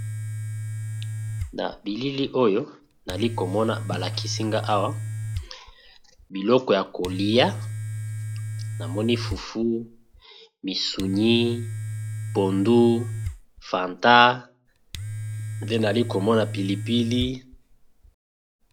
na bilili oyo nali komona balakisinga awa biloko ya kolia na moni fufu misunyi phondu fanta nde nali komona pilipili